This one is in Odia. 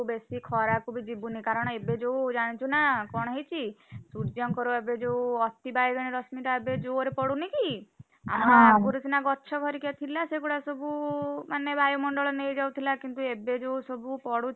ବେଶୀ ଖରା କୁ ବି ଯିବୁନି କାରଣ ଏବେ ଯୋଉ ଜାଣିଛୁନା କଣ ହେଇଛି, ସୂର୍ଯ୍ୟଙ୍କର ଏବେ ଯୋଉ ଅତି ବଇଗେଣୀ ରଶ୍ମୀ ଟା ଏବେ ଜୋରେ ପଡୁନି କି? ଆଗରୁ ସିନା ଗଛ ହରିକା ଥିଲା, ସେଗୁଡା ସବୁ ମାନେ ବାୟୁମଣ୍ଡଳ ନେଇ ଯାଉଥିଲା କିନ୍ତୁ ଏବେ ଯୋଉ ସବୁ